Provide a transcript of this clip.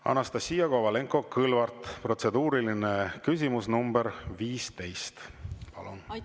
Anastassia Kovalenko‑Kõlvart, protseduuriline küsimus nr 15, palun!